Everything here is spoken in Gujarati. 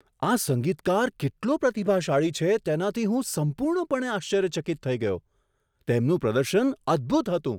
આ સંગીતકાર કેટલો પ્રતિભાશાળી છે, તેનાથી હું સંપૂર્ણપણે આશ્ચર્યચકિત થઈ ગયો. તેમનું પ્રદર્શન અદભૂત હતું.